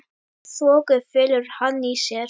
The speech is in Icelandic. Þoku felur hann í sér.